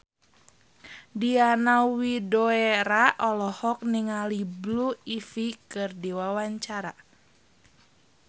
Diana Widoera olohok ningali Blue Ivy keur diwawancara